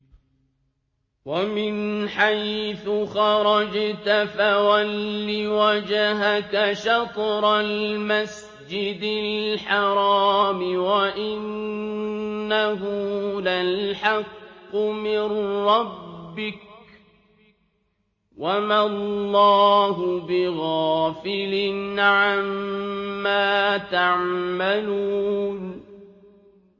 وَمِنْ حَيْثُ خَرَجْتَ فَوَلِّ وَجْهَكَ شَطْرَ الْمَسْجِدِ الْحَرَامِ ۖ وَإِنَّهُ لَلْحَقُّ مِن رَّبِّكَ ۗ وَمَا اللَّهُ بِغَافِلٍ عَمَّا تَعْمَلُونَ